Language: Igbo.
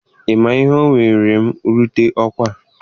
Ị ma ihe o were m rute n'ọkwa a?